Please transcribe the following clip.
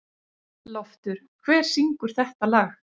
Loftur, hver syngur þetta lag?